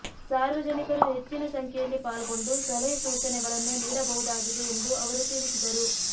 ಸಾರ್ವಜನಿಕರು ಹೆಚ್ಚಿನ ಸಂಖ್ಯೆಯಲ್ಲಿ ಪಾಲ್ಗೊಂಡು ಸಲಹೆ ಸೂಚನೆಗಳನ್ನು ನೀಡಬಹುದಾಗಿದೆ ಎಂದು ಅವರು ತಿಳಿಸಿದರು